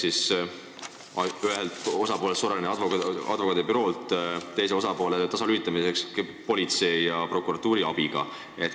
Mille alusel te väidate, et tegu ei ole ühe osapoole, Soraineni advokaadibüroo sooviga teine osapool politsei ja prokuratuuri abiga tasalülitada?